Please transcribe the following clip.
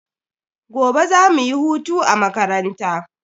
Gobe za mu yi hutu a makaranta.